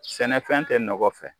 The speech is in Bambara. Sɛnɛfɛn tɛ nɔgɔ fɛ